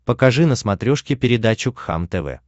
покажи на смотрешке передачу кхлм тв